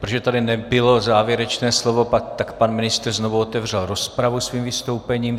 Protože tady nebylo závěrečné slovo, tak pan ministr znovu otevřel rozpravu svým vystoupením.